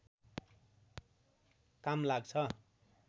काम लाग्छ